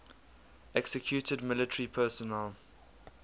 executed military personnel